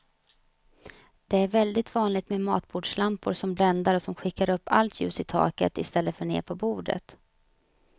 Det är väldigt vanligt med matbordslampor som bländar och som skickar upp allt ljus i taket i stället för ner på bordet.